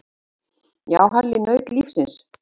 Já, Halli naut lífsins.